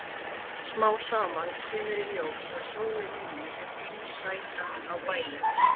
Smám saman kemur svo í ljós að sólin inni er heimasætan á bænum.